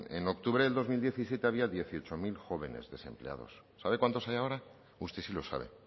en octubre del dos mil diecisiete había dieciocho mil jóvenes desempleados sabe cuántos hay ahora usted sí lo sabe